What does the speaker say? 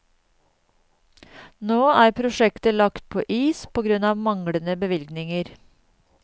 Nå er prosjektet lagt på is på grunn av manglende bevilgninger.